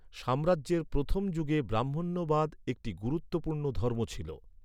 সাম্রাজ্যের প্রথম যুগে ব্রাহ্মণ্যবাদ একটি গুরুত্বপূর্ণ ধর্ম ছিল।